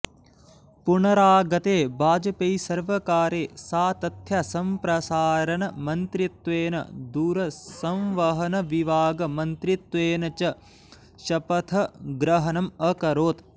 पुनरागते वाजपेयिसर्वकारे सा तथ्यसम्प्रसारणमन्त्रित्वेन दूरसंवहनविभागमन्त्रित्वेन च शपथग्रहणम् अकरोत्